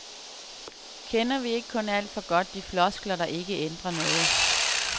Kender vi ikke kun alt for godt de floskler, der ikke ændrer noget.